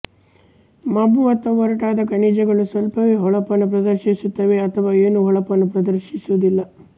ಮಬ್ಬು ಅಥವಾ ಒರಟಾದ ಖನಿಜಗಳು ಸ್ವಲ್ಪವೇ ಹೊಳಪನ್ನು ಪ್ರದರ್ಶಿಸುತ್ತವೆ ಅಥವಾ ಏನೂ ಹೊಳಪನ್ನು ಪ್ರದರ್ಶಿಸುವುದಿಲ್ಲ